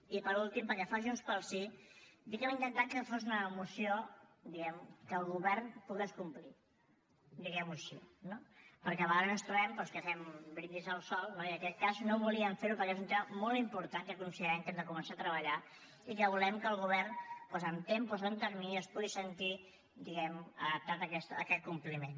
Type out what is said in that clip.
i per últim pel que fa a junts pel sí dir que hem intentat que fos una moció diguem ne que el govern pogués complir diguem ho així no perquè a vegades ens trobem doncs que fem un brindis al sol no i en aquest cas no volíem fer ho perquè és un tema molt important que considerem que hem de començar a treballar i que volem que el govern amb tempos o amb terminis es pugui sentir diguem ne adaptat a aquest compliment